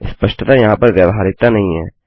स्पष्टतः यहाँ पर व्यावहारिकता नहीं है